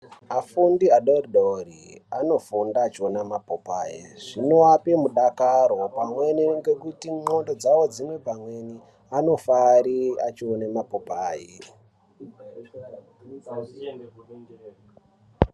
Afundi adodori anofunda achiona mapopayi zvinoape mudakaro pamweni ngekuti nxondo dzine pamweni anofare achiona mapopayi.